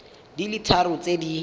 di le tharo tse di